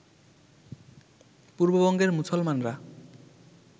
পূর্ববঙ্গের মুসলমানরা